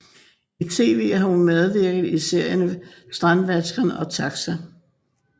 I tv har hun medvirket i serierne Strandvaskeren og TAXA